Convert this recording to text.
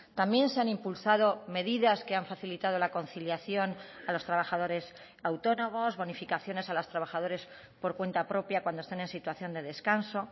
también se han impulsado medidas que han facilitado la conciliación a los trabajadores autónomos bonificaciones a los trabajadores por cuenta propia cuando están en situación de descanso